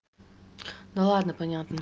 ну ладно понятно